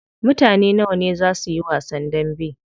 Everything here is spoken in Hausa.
Mutane nawa ne zaa suyi wasan dambe?